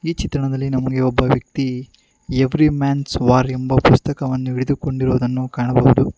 ಚಿತ್ರಣದಲ್ಲಿ ನಮಗೆ ಒಬ್ಬ ವ್ಯಕ್ತಿ ಎವ್ರಿ ಮ್ಯಾನ್ಸ್ ವಾರ್ ಎಂಬ ಪುಸ್ತಕವನ್ನು ಹಿಡಿದುಕೊಂಡಿರುದನ್ನು ಕಾಣಬಹುದು.